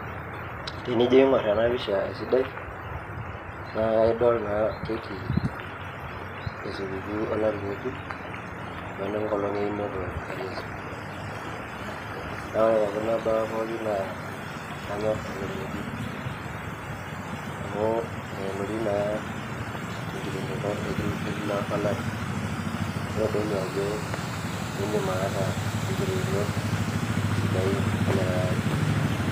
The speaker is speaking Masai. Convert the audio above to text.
tenijo aingor ena pisha esidai naa idol naa keki esukukuu olari ngejuk, onenkolong einoto e yesu. naa ore te kuna baa pookin naa kanyor oleng iji. amu elotu naa te nkiterunoto e kila olari. naa kitodolu ajo idim aata inkiterunot sidain elikae ari.